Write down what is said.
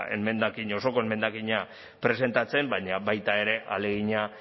ba osoko emendakina presentatzen baina baita ere ahalegina